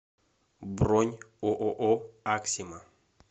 бронь ооо аксима